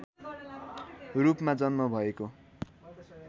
रूपमा जन्म भएको